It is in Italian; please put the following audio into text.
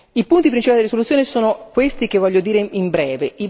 I punti principali della risoluzione sono questi che voglio dire in breve.